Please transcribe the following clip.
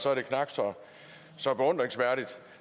tak for